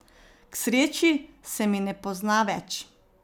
K sreči se mi ne pozna več.